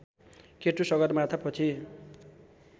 K2 सगरमाथापछि